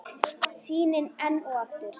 Sýnin enn og aftur.